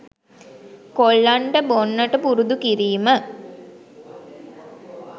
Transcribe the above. කොල්ලන්ට බොන්නට පුරුදු කිරීම